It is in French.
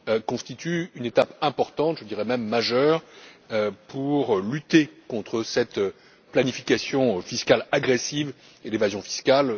constitue une étape importante je dirais même majeure pour lutter contre cette planification fiscale agressive et l'évasion fiscale.